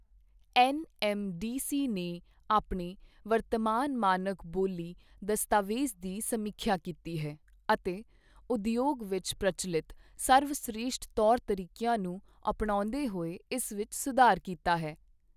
NMDC ਨੇ ਆਪਣੇ ਵਰਤਮਾਨ ਮਾਨਕ ਬੋਲੀ ਦਸਤਾਵੇਜ ਦੀ ਸਮੀਖਿਆ ਕੀਤੀ ਹੈ ਅਤੇ ਉਦਯੋਗ ਵਿੱਚ ਪ੍ਰਚਲਿਤ ਸਰਵਸ਼੍ਰੇਸ਼ਠ ਤੌਰ ਤਰੀਕਿਆਂ ਨੂੰ ਅਪਣਾਉਂਦੇ ਹੋਏ ਇਸ ਵਿੱਚ ਸੁਧਾਰ ਕੀਤਾ ਹੈ।